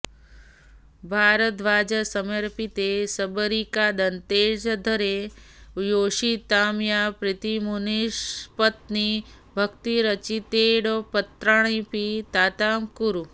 भारद्वाजसमर्पिते शबरिकादत्तेऽधरे योषितां या प्रीतिर्मुनिपत्निभक्तिरचितेऽप्यत्रापि तां तां कुरु